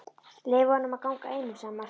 Leyfið honum að ganga einum, sagði Marteinn.